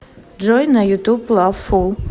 джой на ютуб лавфул